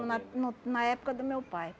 na no na época do meu pai.